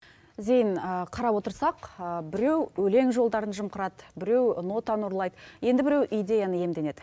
зейін қарап отырсақ біреу өлең жолдарын жымқырады біреу нотаны ұрлайды енді біреу идеяны иемденеді